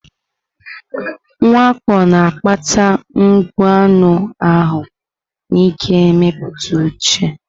Mwakpo na-akpata mgbu anụ ahụ na nke mmetụta uche.